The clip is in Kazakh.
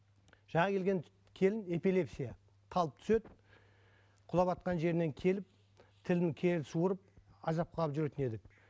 жаңа келген келін эпилепсия талып түседі құлаватқан жерінен келіп тілін кері суырып азапқа алып жүретін еді